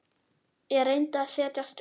Ég reyndi að setjast upp.